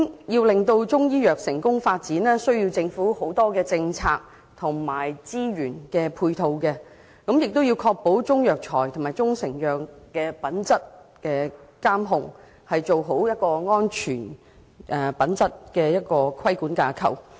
要令中醫藥成功發展，需要政府提供很多政策及資源配套，亦要確保中藥材及中成藥的品質監控，做好確保品質安全的規管架構。